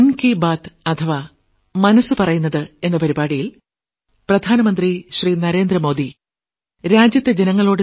Narendra Modi 2017 June 30ാം തീയതി രാവിലെ 11 മണിയ്ക്ക് ഭാരത ജനതയോട് ആകാശവാണിയിലൂടെ നടത്തിയ പ്രത്യേക